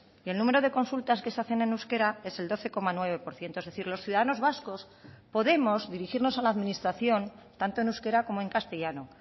y el número de consultas que se hacen en euskera es el doce coma nueve por ciento es decir los ciudadanos vascos podemos dirigirnos a la administración tanto en euskera como en castellano